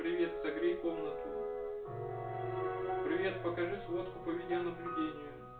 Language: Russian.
привет согрей комнату привет покажи сводку по видеонаблюдению